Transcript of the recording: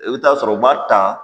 I bɛ taa sɔrɔ u b'a ta